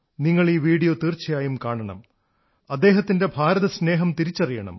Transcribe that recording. നിങ്ങൾ ഈ വീഡിയോ തീർച്ചയായും കാണണം അദ്ദേഹത്തിന്റെ ഭാരതസ്നേഹം തിരിച്ചറിയണം